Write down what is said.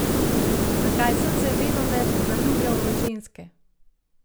Zakaj sem se venomer zaljubljal v ženske?